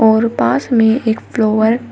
और पास में एक फ्लोवर --